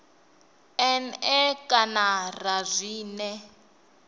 n e kana ra zwine